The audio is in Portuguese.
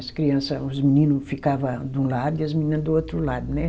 As criança, os menino ficava de um lado e as menina do outro lado, né?